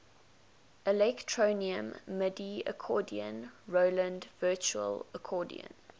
electronium midi accordion roland virtual accordion